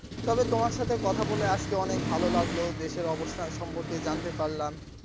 তবে তোমার সাথে কথা বলে আজকে অনেক ভালো লাগলো দেশের অবস্থান সম্পর্কে জানতে পারলাম।